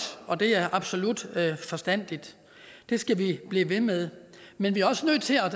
og det er absolut forstandigt det skal vi blive ved med men vi er også nødt til at